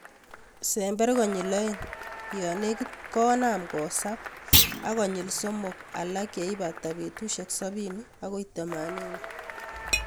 Sember konyil oeng' yon negit konam kosab ak konyil somok alak yeibata betusiek sobini akoi tamanini.